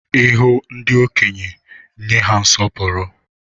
Ihu ndị okenye, nye ha nsọpụrụ